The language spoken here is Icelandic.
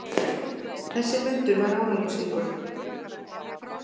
Þessi fundur var árangursríkur.